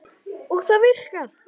Og það virkar.